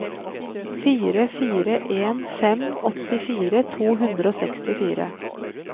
fire fire en fem åttifire to hundre og sekstifire